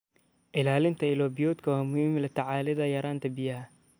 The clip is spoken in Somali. Ilaalinta ilo biyoodka waa muhiim la tacaalida yaraanta biyaha.